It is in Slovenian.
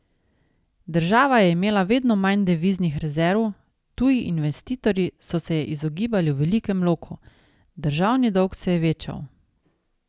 Država je imela vedno manj deviznih rezerv, tuji investitorji so se je izogibali v velikem loku, državni dolg se je večal.